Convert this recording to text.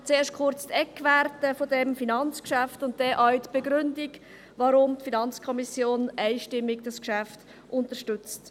Zuerst kurz die Eckwerte dieses Finanzgeschäfts und dann die Begründung, weshalb die FiKo dieses Geschäft einstimmig unterstützt.